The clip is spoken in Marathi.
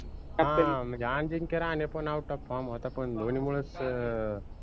हां म्हनजे अजिंक्य राहाने पन out of form होता पन धोनी मुलंच अं